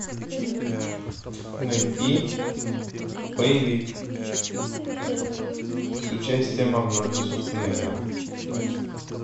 найти боевик с участием арнольда шварценеггера